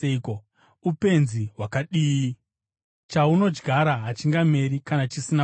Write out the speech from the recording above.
Upenzi hwakadii! Chaunodyara hachingameri kana chisina kufa.